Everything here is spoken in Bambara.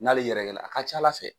N'ale yɛrɛgɛ la a ka ca Ala fɛ.